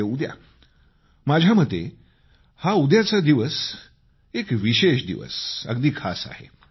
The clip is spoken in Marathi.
म्हणजे उद्या माझ्या मते हा दिवस एक विशेष दिवस अगदी खास आहे